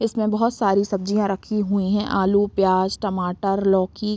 इसमें बहोत सारी सब्जिया रखी हुई है आलू प्याज़ टमाटर लौकी।